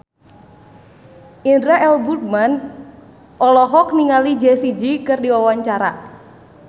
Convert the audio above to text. Indra L. Bruggman olohok ningali Jessie J keur diwawancara